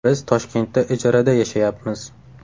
Biz Toshkentda ijarada yashayapmiz.